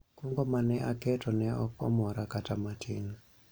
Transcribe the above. kungo mane aketo ne ok omora kata matin